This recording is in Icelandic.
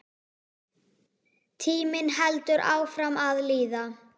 Tíminn heldur áfram að líða.